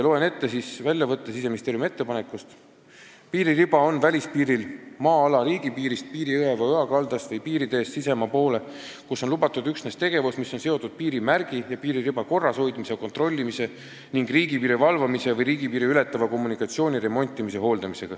Loen ette väljavõtte Siseministeeriumi ettepanekust: "Piiririba on välispiiril maa-ala riigipiirist, piirijõe või -oja kaldast või piiriteest sisemaa poole, kus on lubatud üksnes tegevus, mis on seotud piirimärgi ja piiririba korrashoidmise ja kontrollimise ning riigipiiri valvamise või riigipiiri ületava kommunikatsiooni remontimise ja hooldamisega.